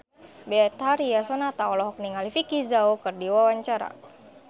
Betharia Sonata olohok ningali Vicki Zao keur diwawancara